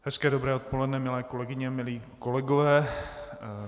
Hezké dobré odpoledne, milé kolegyně, milí kolegové.